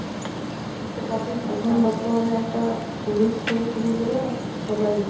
এখন বর্তমানে একটা পলিশ থেকে শুরু করে সবাই,